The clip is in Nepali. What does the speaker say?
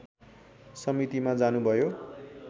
समितिमा जानुभयो